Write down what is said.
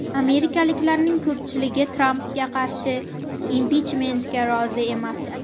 Amerikaliklarning ko‘pchiligi Trampga qarshi impichmentga rozi emas.